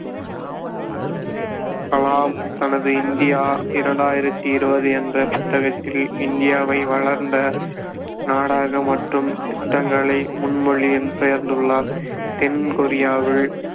கலாம் தனது இந்தியா இரண்டாயிரத்தி இருபது என்ற புத்தகத்தில் இந்தியாவை வளர்ந்த நாடாக மாற்றும் திட்டங்களை முன்மொழி பெயர்ந்துள்ளார் தென் கொரியாவில்